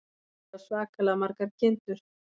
Afi á svakalega margar kindur.